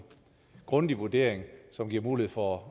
grundig personlig vurdering som giver mulighed for